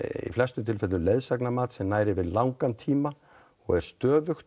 í flestum tilfellum leiðsagnarmat sem nær þá yfir langan tíma og er stöðugt